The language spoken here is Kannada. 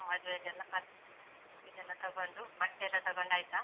ಮದ್ವೆದೆಲ್ಲ, ಬಟ್ ಇದ್ ಎಲ್ಲ ತೊಗೊಂಡು ಬಟ್ಟೆಲ್ಲ ತೊಗೊಂಡ್ ಆಯ್ತಾ?